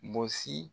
Gosi